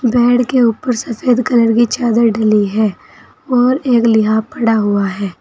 Bed के ऊपर सफेद कलर की चादर डली है और एक लिहाफ पड़ा हुआ है।